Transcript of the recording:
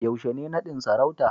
yaushe ne nadin sarauta